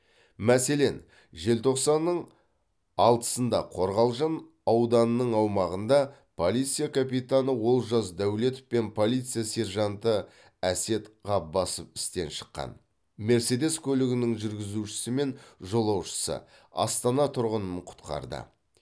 мәселен желтоқсанның алтысында қорғалжын ауданының аумағында полиция капитаны олжас дәулетов пен полиция сержанты әсет ғаббасов істен шыққан мерседес көлігінің жүргізушісі мен жолаушысы астана тұрғынын құтқарды